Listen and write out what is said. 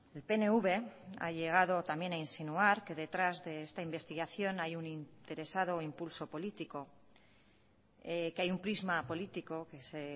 el pnv ha llegado también a insinuar que detrás de esta investigación hay un interesado impulso político que hay un prisma político que se